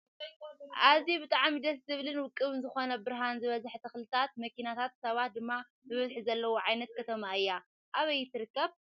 ኣዝዩ ብጣዕሚ ደስ ዝብልን ውቅብን ዝኮነት ብርሃን ዝበዘሓ ተክልታትን መኪናታትን ሰባት ድማ ብብዝሒ ዘለውዋ ዓይነት ከተማ እያ ኣበይ ትርከብ ?